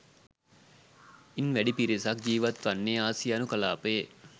ඉන්වැඩි පිරිසක් ජීවත්වන්නේ ආසියානු කලාපයේ